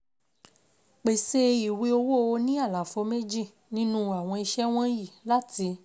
Pèsè ìwé owó oní àlàfo méjì nínú àwọn ìṣe wọ̀nyí láti